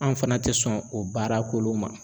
Anw fana tɛ sɔn o baara kolon ma.